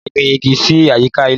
Máa gbìn igi sì àyíká ilé